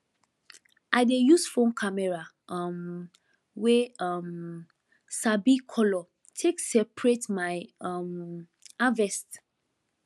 i dey use phone camera um wey um sabi color take separate my um harvest